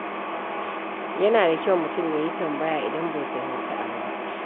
Yana da kyau mutum ya yi tambaya idan bai fahimci abu ba.